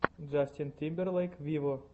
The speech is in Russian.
джастин тимберлейк виво